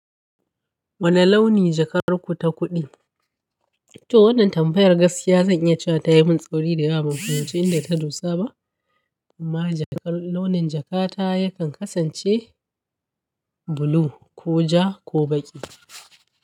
Wane launi jakar ku ta kuɗi? To wannan tambayar gaskiya zan iya cewa ta yi min tsauri da yawa, mun fahimci inda ta dosa ba. Amma launin jaka ta yakan kasance blue ko ja ko baƙi.